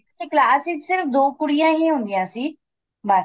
ਅੱਛਾ class ਵਿੱਚ ਦੋ ਕੁੜੀਆਂ ਈ ਹੁੰਦੀਆਂ ਸੀ ਬੱਸ